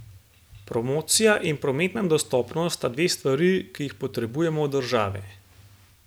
Promocija in prometna dostopnost sta dve stvari, ki jih potrebujemo od države.